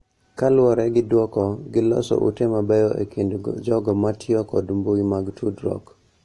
Kaluwore gi dwoko, giloso ute mabeyo e kind jogo ma tiyo kod mbui mag tudruok,